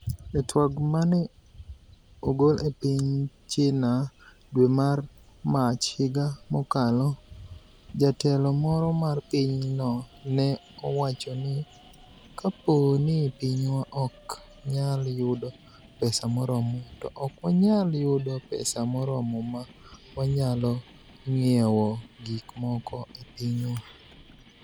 E tweg ma ni e ogol e piniy Chinia e dwe mar Mach higa mokalo, jatelo moro mar piny no ni e owacho nii, "Kapo nii piniywa ok niyal yudo pesa moromo, to ok waniyal yudo pesa moromo ma waniyalo nig'iewo gik moko e piniywa".